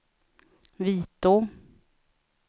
Vitå